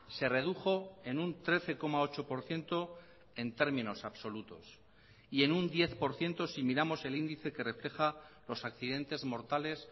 se redujo en un trece coma ocho por ciento en términos absolutos y en un diez por ciento si miramos el índice que refleja los accidentes mortales